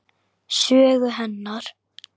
Sögu hennar.